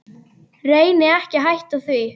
Reyni ekki að hætta því.